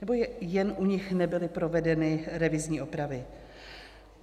Nebo jen u nich nebyly provedeny revizní opravy?